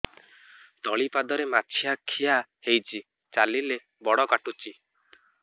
ତଳିପାଦରେ ମାଛିଆ ଖିଆ ହେଇଚି ଚାଲିଲେ ବଡ଼ କାଟୁଚି